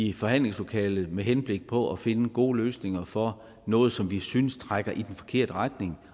i forhandlingslokalet med henblik på at finde gode løsninger for noget som vi synes trækker i den forkerte retning